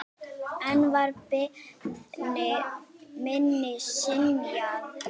Enn var beiðni minni synjað.